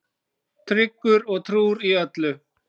Tryggur og trúr í öllu.